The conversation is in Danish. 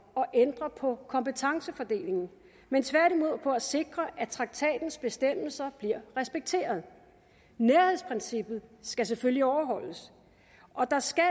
at ændre på kompetencefordelingen men tværtimod om at sikre at traktatens bestemmelser bliver respekteret nærhedsprincippet skal selvfølgelig overholdes og der skal